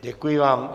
Děkuji vám.